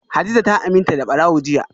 hadiza ta aminta da barawo jiya